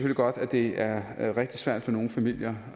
godt at det er er rigtig svært for nogle familier